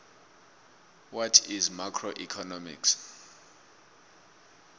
what is macroeconomics